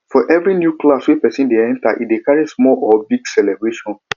for every new class wey persin de enter e de carry small or big celebration